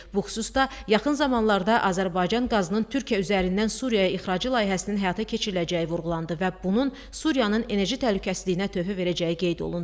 Bu xüsusda yaxın zamanlarda Azərbaycan qazının Türkiyə üzərindən Suriyaya ixracı layihəsinin həyata keçiriləcəyi vurğulandı və bunun Suriyanın enerji təhlükəsizliyinə töhfə verəcəyi qeyd olundu.